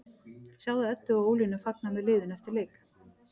Sjáðu Eddu og Ólínu fagna með liðinu eftir leik